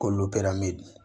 K'olu bɛɛ lamɔ